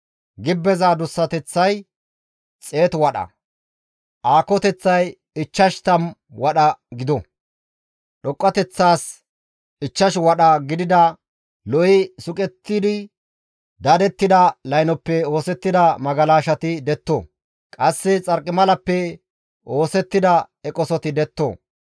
Gibbeza adussateththay xeetu wadha, aakoteththay ichchash tammu wadha gido; dhoqqateththay ichchashu wadha gidida lo7i suqetti dadettida laynoppe oosettida magalashati detto; qasseka xarqimalappe oosettida eqosoti detto.